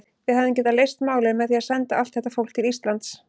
Við hefðum getað leyst málin með því að senda allt þetta fólk til Íslands.